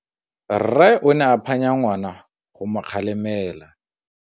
Rre o ne a phanya ngwana go mo galemela.